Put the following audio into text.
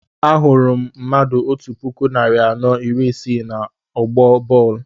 Ahụrụ m mmadụ otú puku narị anọ iri isii na ọgbọ bọọlu